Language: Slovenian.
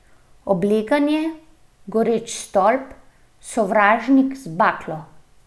Obleganje, goreč stolp, sovražnik z baklo.